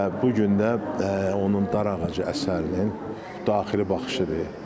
Və bu gün də onun Darağacı əsərinin daxili baxışıdır.